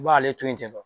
I b'ale to yen ten tɔ